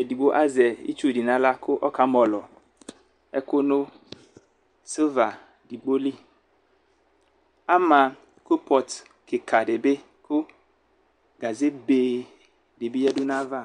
edigbo azɛ itsu di nʋ aɣla kʋ ɔka mɔlɔ ɛkʋ nʋ silva edigboli ala kopɔt kika bi kʋ gaze bee dibi yadʋ nʋ ayava